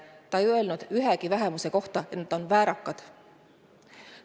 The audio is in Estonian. Ta ei öelnud ühegi vähemuse kohta, et nad on väärakad.